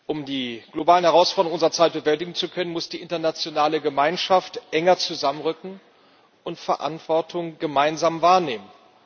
Um die globalen Herausforderungen unserer Zeit bewältigen zu können, muss die internationale Gemeinschaft enger zusammenrücken und Verantwortung gemeinsam wahrnehmen.